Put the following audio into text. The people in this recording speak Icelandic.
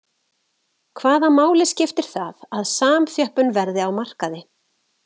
Hvaða máli skiptir það að samþjöppun verði á markaði?